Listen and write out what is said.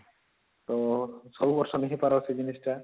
ତ ସବୁ ବରଷ ନାଇଁ ହେଇପାର ସେ ଜିନିଷ ଟା